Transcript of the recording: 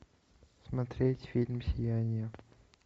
смотреть фильм сияние